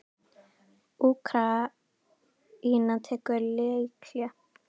Úkraína tekur leikhlé